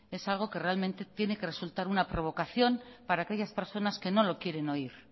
es algo que realmente tiene que resultar una provocación para aquellas personas que no lo quieren oír